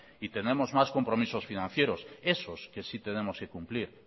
y tenemos más compromisos financieros esos que sí tenemos que cumplir